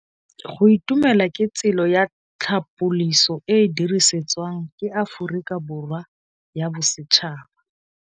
Go itumela ke tsela ya tlhapolisô e e dirisitsweng ke Aforika Borwa ya Bosetšhaba.